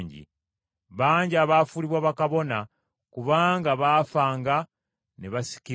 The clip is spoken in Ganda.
Bangi abaafuulibwa bakabona kubanga baafanga ne basikirwa.